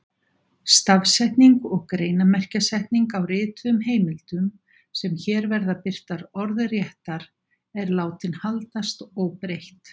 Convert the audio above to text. Stafsetning og greinarmerkjasetning á rituðum heimildum, sem hér verða birtar orðréttar, er látin haldast óbreytt.